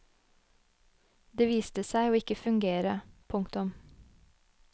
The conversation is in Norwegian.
Det viste seg å ikke fungere. punktum